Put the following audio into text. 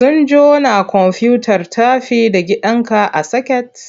Sun jona komfuyutar tafi da gidanka a soket?